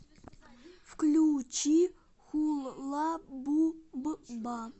включи хулла бубба